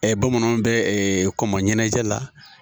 bamananw bɛ kɔmɔ ɲɛnajɛ la